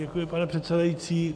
Děkuji, pane předsedající.